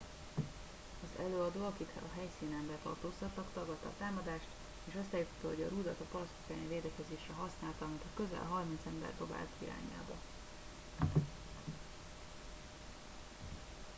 az előadó akit a helyszínen letartóztattak tagadta a támadást és azt állította hogy a rudat a palackok elleni védekezésre használta amit a közel harminc ember dobált irányába